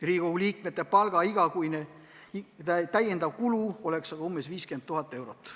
Riigikogu liikmete palga tõstmise igakuine täiendav kulu oleks umbes 50 000 eurot.